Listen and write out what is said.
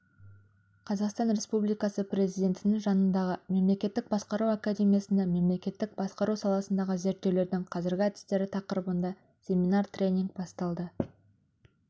қазақстан республикасы президентінің жанындағы мемлекеттік басқару академиясында мемлекеттік басқару саласындағы зерттеулердің қазіргі әдістері тақырыбында семинар-тренинг басталды